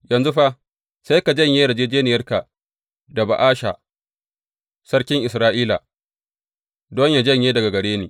Yanzu fa sai ka janye yarjejjeniyarka da Ba’asha sarkin Isra’ila, don yă janye daga gare ni.